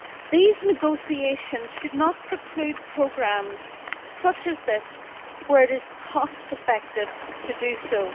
These negotiations should not preclude programmes such as this, where it is cost-effective to do so.